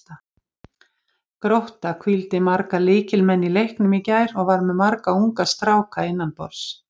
Grótta hvíldi marga lykilmenn í leiknum í gær og var með marga unga stráka innanborðs.